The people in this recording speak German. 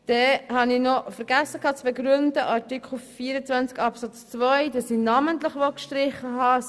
Ich habe bei Artikel 24 Absatz 2 noch vergessen zu begründen, warum ich das Wort «namentlich» streichen möchte.